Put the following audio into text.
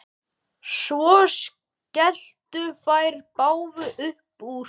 Svo skelltu þær báðar upp úr.